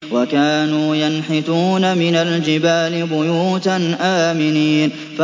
وَكَانُوا يَنْحِتُونَ مِنَ الْجِبَالِ بُيُوتًا آمِنِينَ